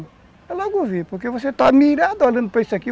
Ela logo vi, porque você está mirado, olhando para isso aqui.